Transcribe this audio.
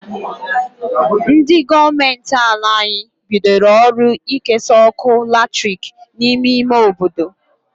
Ndi goomenti ala anyi bidoro ọrụ ikesa ọkụ latrik n'ime ime obodo..